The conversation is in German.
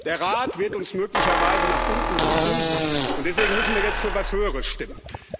Der Rat wird uns möglicherweise nach unten drücken, und deswegen müssen wir jetzt für was Höheres stimmen.